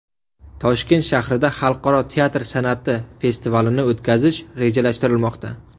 Toshkent shahrida Xalqaro teatr san’ati festivalini o‘tkazish rejalashtirilmoqda.